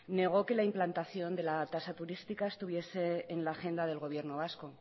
negó que la implantación de la tasa turística estuviese en la agenda del gobierno vasco